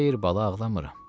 Xeyr, bala ağlamıram.